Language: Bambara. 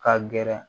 Ka gɛrɛ